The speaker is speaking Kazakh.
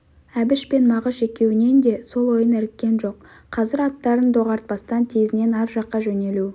әбіш пен мағыш екеуінен де сол ойын іріккен жоқ қазір аттарын доғартпастан тезінен ар жаққа жөнелу